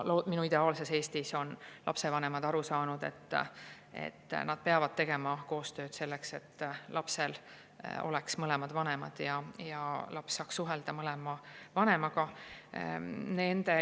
Minu ideaalses Eestis on lapsevanemad aru saanud, et nad peavad tegema koostööd selleks, et lapsel oleks mõlemad vanemad ja laps saaks suhelda mõlema vanemaga.